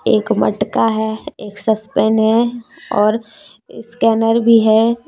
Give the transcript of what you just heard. एक मटका है एक है और स्कैनर भी है।